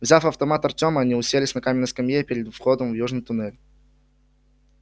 взяв автомат артёма они уселись на каменной скамье перед входом в южный туннель